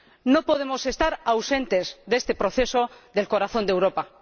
No podemos estar ausentes de este proceso del corazón de Europa.